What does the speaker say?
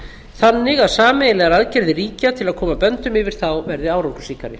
þannig að sameiginlegar aðgerðir ríkja til að koma böndum yfir þá verði árangursríkari